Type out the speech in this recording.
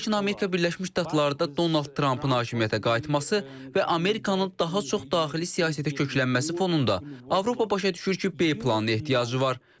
Lakin Amerika Birləşmiş Ştatlarda Donald Trampın hakimiyyətə qayıtması və Amerikanın daha çox daxili siyasətə köklənməsi fonunda Avropa başa düşür ki, B planına ehtiyacı var.